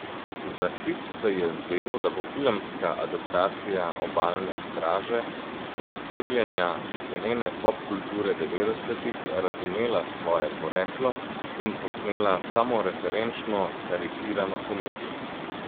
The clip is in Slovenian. Za hip se je zdelo, da bo filmska adaptacija Obalne straže, poosebljenja cenene popkulture devetdesetih, razumela svoje poreklo in posnela samoreferenčno, karikirano komedijo.